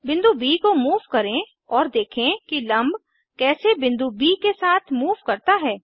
बिंदु ब को मूव करें और देखें कि लम्ब कैसे बिंदु ब के साथ मूव करता है